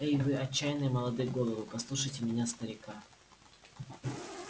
эй вы отчаянные молодые головы послушайте меня старика